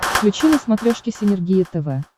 включи на смотрешке синергия тв